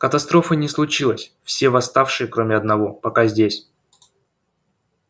катастрофы не случилось все восставшие кроме одного пока здесь